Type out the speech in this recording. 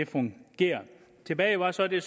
fungerer tilbage var så det